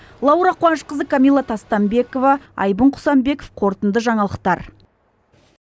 лаура қуанышқызы камила тастанбекова айбын құсанбеков қорытынды жаңалықтар